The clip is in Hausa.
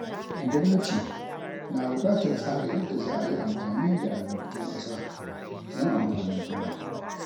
Gwamnati na bukatar tsara yadda za a yi amfani da albarkatun ƙasa don amfanin kowa.